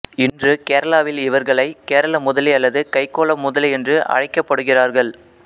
இன்று கேரளாவில் இவர்களை கேரளமுதலி அல்லது கைக்கோளமுதலி என்று அழைக்கப்படுகிறார்கள்